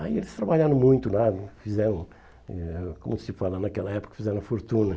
Aí eles trabalharam muito lá, fizeram, hum eh como se fala naquela época, fizeram a fortuna.